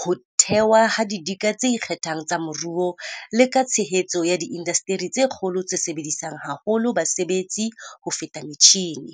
ho thewa ha didika tse ikgethang tsa moruo, le ka tshehetso ya diindasteri tsa kgolo tse sebedisang haholo basebetsi ho feta metjhine.